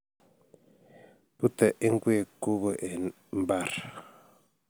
Bute ingwek kugo eng mbar